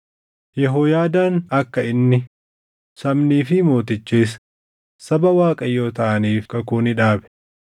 Yehooyaadaan akka inni, sabnii fi mootichis saba Waaqayyoo taʼaniif kakuu ni dhaabe.